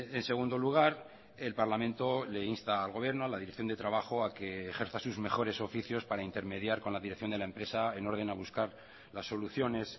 en segundo lugar el parlamento le insta al gobierno a la dirección de trabajo a que ejerza sus mejores oficios para intermediar con la dirección de la empresa en orden a buscar las soluciones